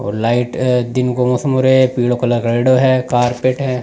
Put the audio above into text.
और लाइट दिन का मौसम हो रहयो है पिले कलर करेड़ों है कार्पेट है।